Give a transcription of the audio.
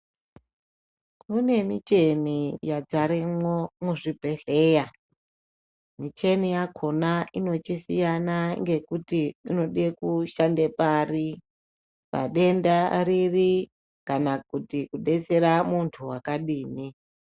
Kune michini yazaramo pazvibhedhlera micheni yakona inochisiyana ngekuti inoda kushanda pari padenda riri kana kuti kudetsera muntu wakadii.